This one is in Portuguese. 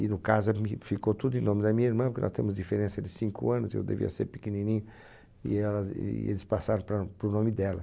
E no caso ficou tudo em nome da minha irmã, porque nós temos diferença de cinco anos, e eu devia ser pequenininho, e elas e eles passaram para para o nome dela.